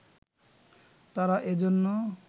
তারা এজন্য